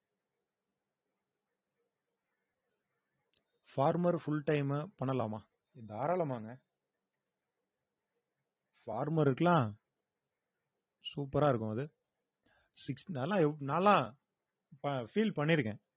farmer full time உ பண்ணலாமா தாராளமாக farmer க்குலாம் super ஆ இருக்கும் அது six நல்லா நாலாம் அஹ் feel பண்ணிருக்கேன்